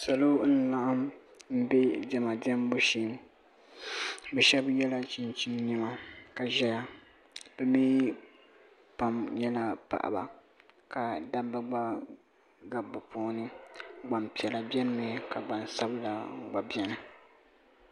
salo n laɣim mbɛ diɛma diɛmbu shɛɛ bi shɛba yela chinchini nɛma ka zɛya nimi pam nyɛla paɣaba ka dabba gba gabi bi puuni gbaŋ piɛla bɛni mi ka gbaŋ sabila gba biɛni.